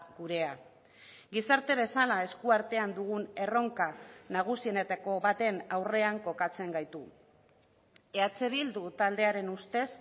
gurea gizarte bezala esku artean dugun erronka nagusienetako baten aurrean kokatzen gaitu eh bildu taldearen ustez